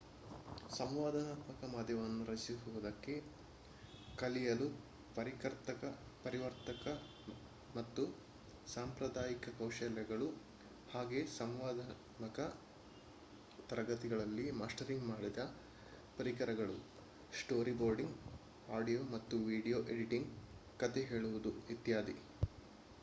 ಸಂವಾದಾತ್ಮಕ ಮಾಧ್ಯಮವನ್ನು ರಚಿಸುವುದಕ್ಕೆ ಕಲಿಯಲು ಪರಿವರ್ತಕ ಮತ್ತು ಸಾಂಪ್ರದಾಯಿಕ ಕೌಶಲ್ಯಗಳು ಹಾಗೆಯೇ ಸಂವಾದಾತ್ಮಕ ತರಗತಿಗಳಲ್ಲಿ ಮಾಸ್ಟರಿಂಗ್ ಮಾಡಿದ ಪರಿಕರಗಳು ಸ್ಟೋರಿಬೋರ್ಡಿಂಗ್ ಆಡಿಯೋ ಮತ್ತು ವಿಡಿಯೋ ಎಡಿಟಿಂಗ್ ಕಥೆ ಹೇಳುವುದು ಇತ್ಯಾದಿ